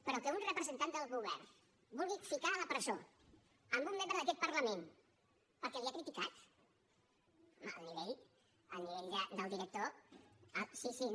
però que un representant del govern vulgui ficar a la presó un membre d’aquest parlament perquè l’ha criticat home el nivell el nivell del director sí sí no